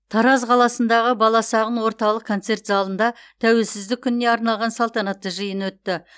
тараз қаласындағы баласағұн орталық концерт залында тәуелсіздік күніне арналған салтанатты жиын өтті